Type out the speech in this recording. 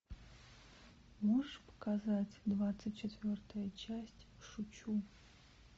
можешь показать двадцать четвертая часть шучу